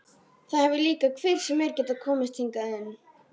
Það hefur líka hver sem er getað komist hingað inn.